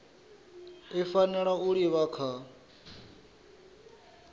i fanela u livha kha